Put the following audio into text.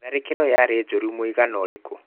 Tharĩkĩro yarĩ njũru mũigana ũrĩkũ?